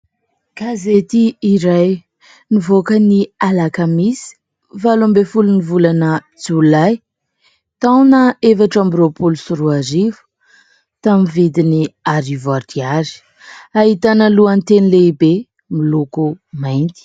Gazety iray nivoaka ny Alakamisy valo ambin'ny folon'ny volana Jolay, taona efatra amby roapolo sy roa arivo tamin'ny vidiny arivo ariary. Ahitana lohateny lehibe miloko mainty.